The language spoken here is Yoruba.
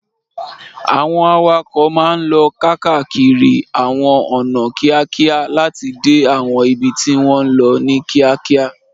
Àwọn awakọ̀ máa ń lọ káàkiri àwọn ọ̀nà kíákíá láti dé àwọn ibi tí wọ́n ń lọ ní kíákíá.